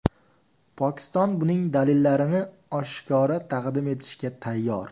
Pokiston buning dalillarini oshkora taqdim etishga tayyor.